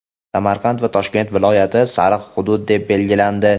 Samarqand va Toshkent viloyatlari "sariq" hudud deb belgilangandi.